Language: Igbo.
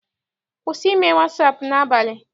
Kwụsị ime wasaapụ n'abalị!